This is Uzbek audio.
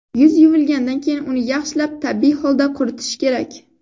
Yuz yuvilgandan keyin uni yaxshilab tabiiy holda quritish kerak.